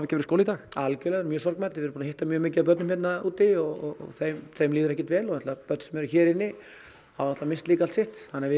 verið skóli í dag algjörlega mjög sorgmædd við erum búin að hitta mjög mikið af börnum hérna úti og þeim þeim líður ekkert vel og börn sem eru hér inni hafa misst allt sitt þannig að við